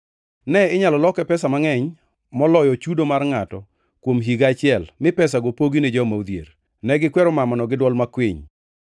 Ne inyalo loke pesa mangʼeny moloyo chudo mar ngʼato kuom higa achiel mi pesago pogi ne joma odhier.” Ne gikwero mamano gi dwol makwiny.